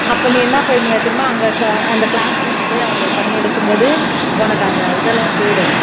அப்போ நீ என்ன பண்ணுவ தெரியுமா அங்க இருக்க அந்த classroom க்கு போய் அவங்களை பண்ணி எடுக்கும் போது உனக்கு அந்த இதெல்லாம் போய்டும்